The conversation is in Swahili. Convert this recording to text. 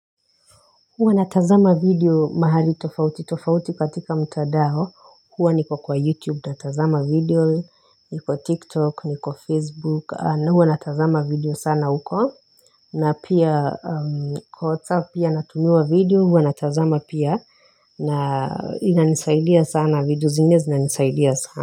Huwa natazama video mahali tofauti tofauti katika mtandao, huwa niko kwa YouTube natazama video, niko TikTok, niko Facebook, na huwa natazama video sana huko, na pia kwa WhatsApp pia natumiwa video, huwa natazama pia, na inanisaidia sana video zingine zinanisaidia sana.